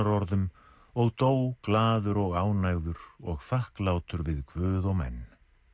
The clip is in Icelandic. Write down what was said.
blessunarorðum og dó glaður og ánægður og þakklátur við guð og menn